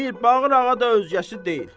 Mirbağır ağa da özgəsi deyil.